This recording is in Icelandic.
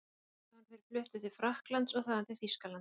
Síðar hafi hann verið fluttur til Frakklands og þaðan til Þýskalands.